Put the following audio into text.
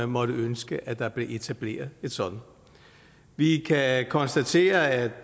måtte ønske at der blev etableret et sådant vi kan konstatere at